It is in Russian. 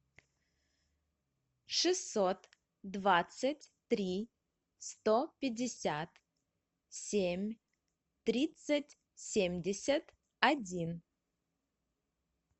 шестьсот двадцать три сто пятьдесят семь тридцать семьдесят один